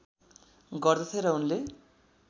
गर्दथे र उनले